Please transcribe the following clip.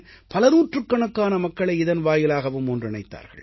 பலநூற்றுக் கணக்கான மக்களை இதன் வாயிலாகவும் ஒன்றிணைத்தார்கள்